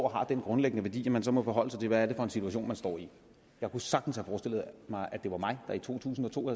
har den grundlæggende værdi at man så må forholde sig til hvad det er for en situation man står i jeg kunne sagtens have forestillet mig at det var mig der i to tusind og to